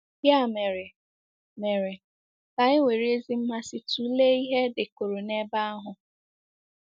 Ya mere, mere, ka anyị were ezi mmasị tụlee ihe e dekọrọ n’ebe ahụ.